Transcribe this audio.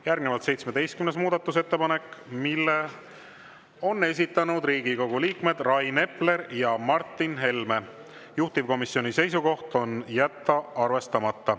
Järgnevalt 17. muudatusettepanek, mille on esitanud Riigikogu liikmed Rain Epler ja Martin Helme, juhtivkomisjoni seisukoht on jätta arvestamata.